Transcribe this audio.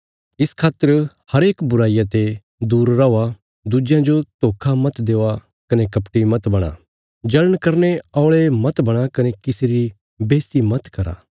इस खातर हरेक बुराईया ते दूर रौआ दुज्यां जो धोखा मत देआ कने कपटी मत बणा जल़ण करने औल़े मत बणा कने किसी री बेईज्जति मत करा